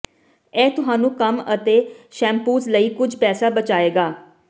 ਇਹ ਤੁਹਾਨੂੰ ਕੰਮ ਅਤੇ ਸ਼ੈਂਪੂਸ ਲਈ ਕੁਝ ਪੈਸਾ ਬਚਾਏਗਾ